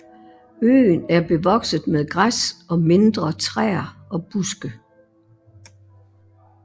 Øen er bevokset med græs og mindre træer og buske